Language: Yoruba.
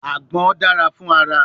Agbon dara fun ara